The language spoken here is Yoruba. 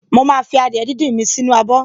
Mo máa fi adìẹ díndín mi sì inú abọ̀